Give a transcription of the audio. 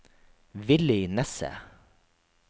Villy Nesset